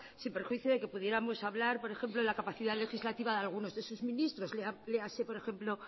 sin prejuicio de que pudiéramos hablar por ejemplo de la capacidad legislativa de algunos de sus ministros léase por ejemplo